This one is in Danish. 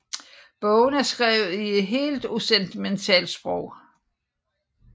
Bogen er skrevet i et helt usentimentalt sprog